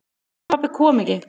En pabbi kom ekki.